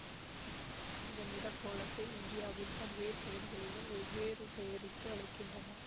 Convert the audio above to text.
இந்த நிறக்கோலத்தை இந்தியாவின் பல்வேறு பகுதிகளிலும் வெவ்வேறு பெயரிட்டு அழைக்கின்றனர்